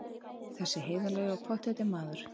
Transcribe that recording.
Þessi heiðarlegi og pottþétti maður!